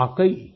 thank you सिर